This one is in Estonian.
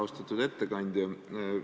Austatud ettekandja!